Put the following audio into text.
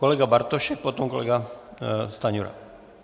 Kolega Bartošek, potom kolega Stanjura.